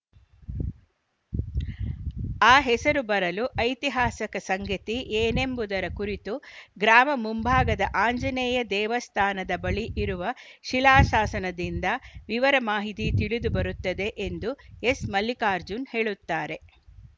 ಆ ಹೆಸರು ಬರಲು ಐತಿಹಾಸಿಕ ಸಂಗತಿ ಏನೆಂಬುದರ ಕುರಿತು ಗ್ರಾಮ ಮುಂಭಾಗದ ಆಂಜನೇಯ ದೇವಸ್ಥಾನದ ಬಳಿ ಇರುವ ಶಿಲಾಶಾಸನದಿಂದ ವಿವರ ಮಾಹಿತಿ ತಿಳಿದು ಬರುತ್ತದೆ ಎಂದು ಎಸ್‌ಮಲ್ಲಿಕಾರ್ಜುನ್‌ ಹೇಳುತ್ತಾರೆ